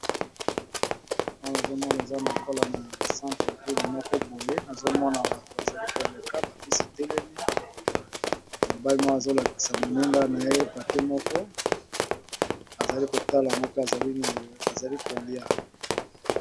Awa namoni balakisi biso eza nakati ya centre ville mokoboye nazomona bato ebele bazali koleka na balabala ba mituka pe etelemi namoni papa moko esimbi papier na maboko